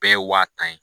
Bɛɛ ye wa tan ye